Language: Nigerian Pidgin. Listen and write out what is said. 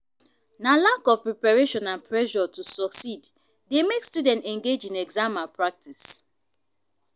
na lack of preparation and pressure to succeed dey make students engage in exam malpractice.